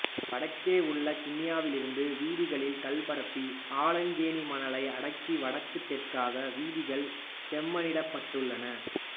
வடக்கே உள்ள கிண்ணியாவிலிருந்து வீதிகளில் கல்பரப்பி ஆலங்கேணி மணலை அடக்கி வடக்குத் தெற்காக வீதிகள் செப்பனிடப்பட்டுள்ளன